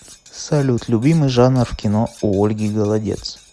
салют любимый жанр в кино у ольги голодец